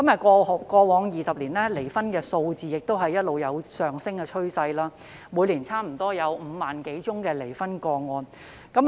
過往20年離婚的數字一直有上升趨勢，每年接近有5萬多宗離婚個案。